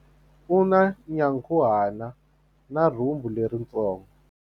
U na nyankhuhana na rhumbu leritsongo.